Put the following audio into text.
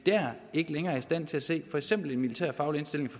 ikke længere i stand til at se for eksempel en militærfaglig indstilling